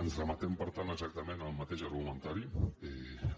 ens remetem per tant exactament al mateix argumentari